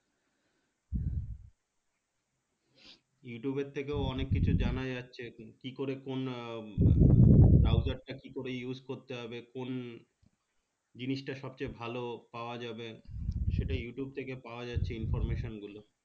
YouTube এর থেকেও অনেককিছু জানা যাচ্ছে কি করে কোন browser টা কি করে use করতে হবে কোন জিনিসটা সবচেয়ে ভালো পাওয়া যাবে